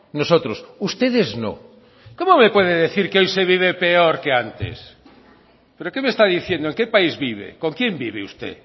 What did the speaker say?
nosotros ustedes no cómo me puede decir que hoy se vive peor que antes pero qué me está diciendo en qué país vive con quién vive usted